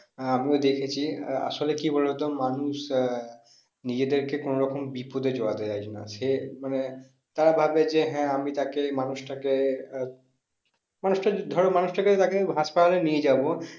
আহ আমিও দেখেছি আসলে কি বলতো মানুষ আহ নিজেদেরকে কোনো রকম বিপদে জড়াতে চাইছে না সে মানে তারা ভাবে যে হ্যাঁ আমি তাকে মানুষটাকে আহ মানুষটা ধরো মানুষটাকে তাকে হাসপাতালে নিয়ে যাবো